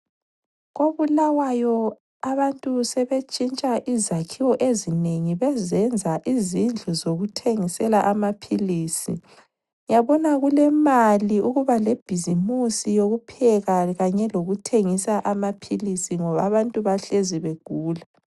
KoBulawayo abantu sebentshintsha izakhiwo ezinengi bezenza izindlu zokuthengisela amaphilisi. Uyabona kulemali ukuba lebhizimusi yokupheka kanye lokuthengisa amaphilisi ngoba abantu bahlezi begula.